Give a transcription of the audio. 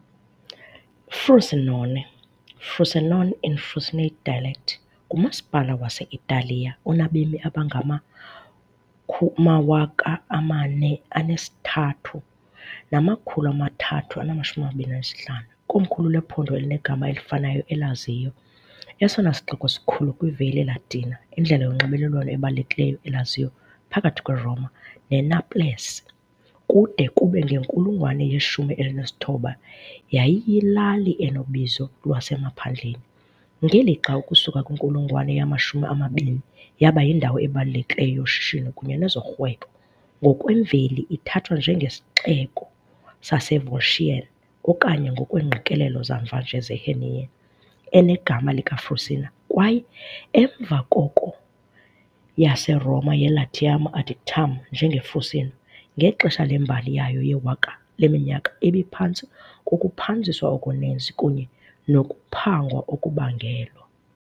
Frosinone, "Frusenone" in Frusinate dialect, ngumasipala wase-Italiya onabemi abangama-43,325, ikomkhulu lephondo elinegama elifanayo eLazio. Esona sixeko sikhulu kwiValle Latina, indlela yonxibelelwano ebalulekileyo eLazio phakathi kweRoma neNaples, kude kube ngenkulungwane yeshumi elinesithoba yayiyilali enobizo lwasemaphandleni, ngelixa ukusuka kwinkulungwane yamashumi amabini yaba yindawo ebalulekileyo yoshishino kunye nezorhwebo. Ngokwemveli ithathwa njengesixeko saseVolscian, okanye ngokweengqikelelo zamva nje zeHernian, enegama "likaFrusina" kwaye emva koko yaseRoma yeLatium adiactum "njengeFrùsino", ngexesha lembali yayo yewaka leminyaka ibiphantsi kokuphanziswa okuninzi kunye nokuphangwa okubangelwa.